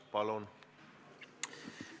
Palun!